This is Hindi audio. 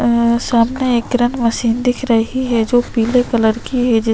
ये सामने एक किरण मशीन दिखी रही है जो पीले कलर की है जिस --